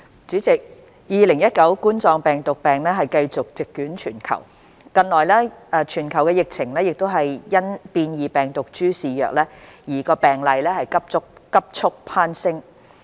主席 ，2019 冠狀病毒病繼續席捲全球，近來全球疫情更因變異病毒株肆虐而病例急速攀升。